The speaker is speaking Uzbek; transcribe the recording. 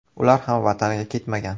Ular ham vataniga ketmagan.